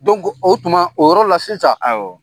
o tuma , o yɔrɔ la sisan